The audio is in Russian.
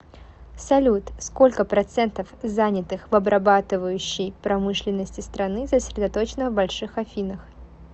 салют сколько процентов занятых в обрабатывающей промышленности страны сосредоточено в больших афинах